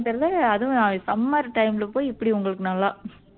தெரியலே அதுவும் summer time ல போய் இப்படி உங்களுக்கு நல்லா